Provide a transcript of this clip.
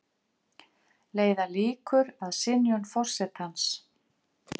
Leiða líkur að synjun forsetans